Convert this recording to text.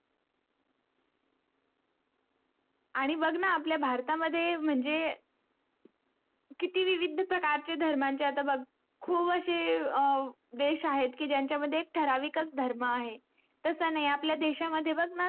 याबी बघ न आपल्या भारत मध्ये म्हणजे किती विविध प्रकारचे धर्मांचे आता बघ खूप आशे देश आहेत की ज्यांचा मध्ये ठराविक कच धर्म आहे तस नाही आपल्या देश मध्ये बघ न